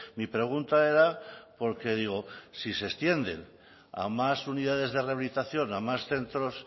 mi pregunta era porque digo si se extiende a más unidades de rehabilitación a más centros